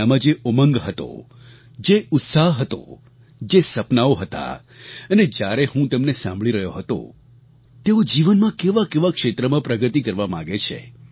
તેમનામાં જે ઉમંગ હતો જે ઉત્સાહ હતો જે સપનાંઓ હતા અને જ્યારે હું તેમને સાંભળી રહ્યો હતો તેઓ જીવનમાં કેવાકેવા ક્ષેત્રમાં પ્રગતિ કરવા માગે છે